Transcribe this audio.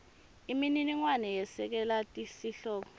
imininingwane yesekela sihloko